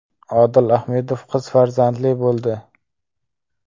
Odil Ahmedov qiz farzandli bo‘ldi .